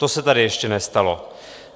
To se tady ještě nestalo.